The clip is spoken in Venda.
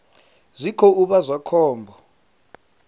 zwi khou vha zwa khombo